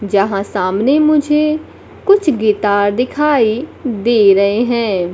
यहां सामने मुझे कुछ गिटार दिखाई दे रहे हैं।